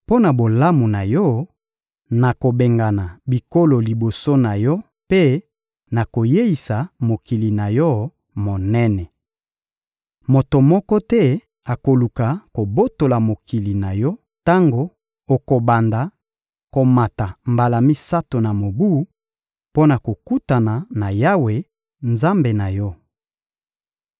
Mpo na bolamu na yo, nakobengana bikolo liboso na yo mpe nakoyeisa mokili na yo monene. Moto moko te akoluka kobotola mokili na yo tango okobanda komata mbala misato na mobu, mpo na kokutana na Yawe, Nzambe na yo.